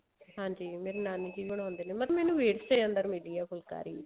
ਹਾਂਜੀ ਮੇਰੇ ਨਾਨੀ ਜੀ ਬਣਾਉਂਦੇ ਨੇ ਮਤਲਬ ਮੈਨੂੰ ਵਿਰਸੇ ਅੰਦਰ ਮਿਲੀ ਆ ਫੁਲਕਾਰੀ